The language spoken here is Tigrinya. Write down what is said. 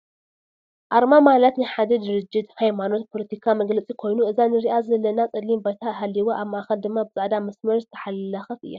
ኣርማ ማላት ናይ ሓደ ድርጅት ፣ ሃይማናት ፣ፖሎቲካ፣ መግለፂ ኮይኑ እዛ ንሪኣ ዘላና ፀሊም ባይታ ሃሊዋ ኣብ ማእከል ድማ ብፃዕዳ መስመር ዝተሓለከት እያ።